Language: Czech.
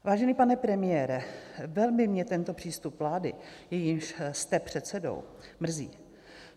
Vážený pane premiére, velmi mě tento přístup vlády, jejímž jste předsedou, mrzí.